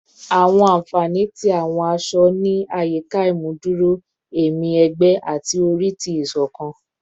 Awọn anfani ti awọn aṣọ-aṣọ ni ayika imuduro ẹmi ẹgbẹ ati ori ti isokan